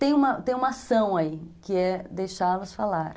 Tem uma tem uma ação aí, que é deixá-los falar.